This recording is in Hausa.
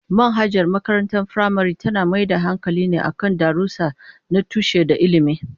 Manhajar makarantar firamare tana mai da hankali ne kan darussa na tushe da ilimi.